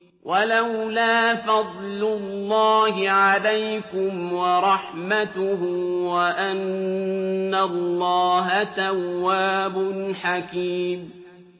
وَلَوْلَا فَضْلُ اللَّهِ عَلَيْكُمْ وَرَحْمَتُهُ وَأَنَّ اللَّهَ تَوَّابٌ حَكِيمٌ